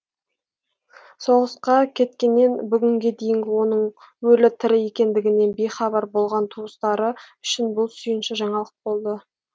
соғысқа кеткеннен бүгінге дейінгі оның өлі тірі екендігінен бейхабар болған туыстары үшін бұл сүйінші жаңалық болды